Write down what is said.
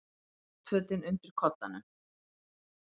Náttfötin undir koddanum.